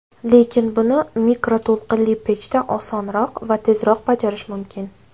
Lekin buni mikroto‘lqinli pechda osonroq va tezroq bajarish mumkin.